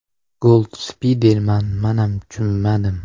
Gold Spiderman: Manam chunmadim.